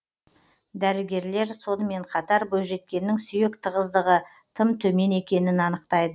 дәрігерлер сонымен қатар бойжеткеннің сүйек тығыздығы тым төмен екенін анықтайды